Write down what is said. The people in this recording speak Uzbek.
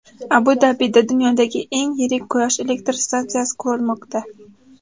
Abu-Dabida dunyodagi eng yirik Quyosh elektr stansiyasi qurilmoqda.